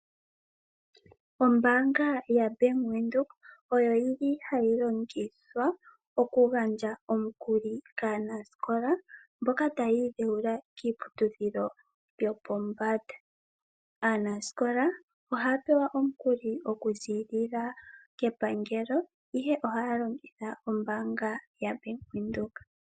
Ombaanga yaBank Windhoek ohayi longithwa okugandja omikuli kaanasikola mboka taya idhewula kiiputudhilo yopombanda. Aanasikola ohaya pewa omikuli okuziilila kepangelo, ihe ohaya longitha ombaanga yaBank Windhoek.